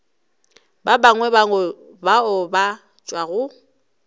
ba bangwe bao ba tšwago